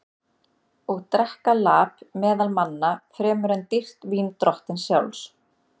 Og drekka lap meðal manna fremur en dýrt vín drottins sjálfs?